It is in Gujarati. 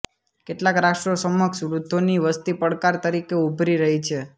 કેટલાક રાષ્ટ્રો સમક્ષ વૃદ્ધોની વસ્તી પડકાર તરીકે ઊભરી રહી છે